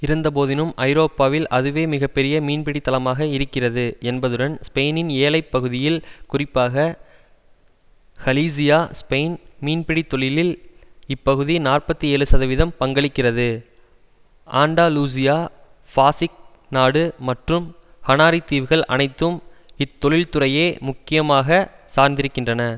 இருந்த போதினும் ஐரோப்பாவில் அதுவே மிக பெரிய மின்பிடி தளமாக இருக்கிறது என்பதுடன் ஸ்பெயினின் ஏழை பகுதிகள் குறிப்பாக ஹலீசியா ஸ்பெயின் மீன்பிடி தொழிலில் இப்பகுதி நாற்பத்தி ஏழு சதவீதம் பங்களிக்கிறது ஆண்டலுசியா பாசிக் நாடு மற்றும் ஹனாரி தீவுகள் அனைத்தும் இத்தொழில்துறையே முக்கியமாக சார்ந்திருக்கின்றன